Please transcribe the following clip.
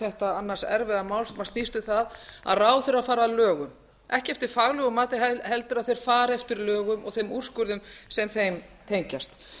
þetta annars erfiða mál sem snýst um það að ráðherrar fari að lögum ekki eftir faglegu mati heldur að þeir fari eftir lögum og þeim úrskurðum sem þeim tengjast